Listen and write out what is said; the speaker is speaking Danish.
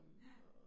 Ja